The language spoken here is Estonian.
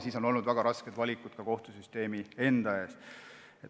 Siis on tulnud teha väga raskeid valikuid ka kohtusüsteemis endas.